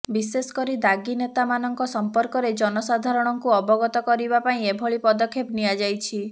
ବିଶେଷକରି ଦାଗୀ ନେତାମାନଙ୍କ ସଂପର୍କରେ ଜନସାଧାରଣଙ୍କୁ ଅବଗତ କରିବା ପାଇଁ ଏଭଳି ପଦକ୍ଷେପ ନିଆଯାଇଛି